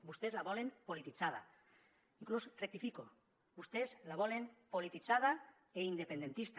vostès la volen polititzada inclús ho rectifico vostès la volen polititzada i independentista